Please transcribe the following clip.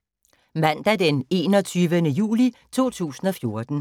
Mandag d. 21. juli 2014